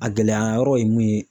A gɛlɛya yɔrɔ ye mun ye.